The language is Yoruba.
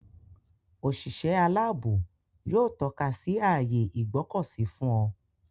Òṣìṣẹ́ aláàbò yóò tọ́ka ààyè Ìgbọ̀kọ̀sí fún ọ.